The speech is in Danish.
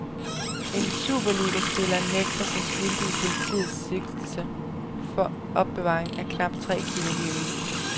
En superligaspiller nægter sig skyldig i politiets sigtelse for opbevaring af knap tre kilo heroin.